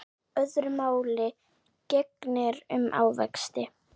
Öðru máli gegnir um ávexti.